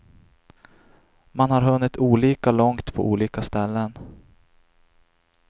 Man har hunnit olika långt på olika ställen.